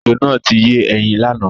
Ejò náà ti yé ẹyin lánàá.